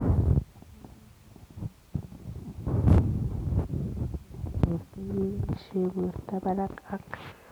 Tiemutik ap amitwogik chegonuu kaimutik ap bortoo kebaishee portoi parak ak